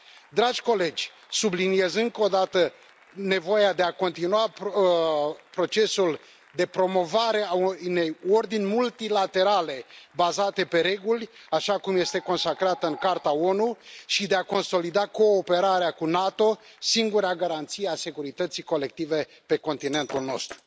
Dragi colegi, subliniez încă o dată nevoia de a continua procesul de promovare a unei ordini multilaterale bazate pe reguli, așa cum este consacrată în Carta ONU, și de a consolida cooperarea cu NATO, singura garanție a securității colective pe continentul nostru.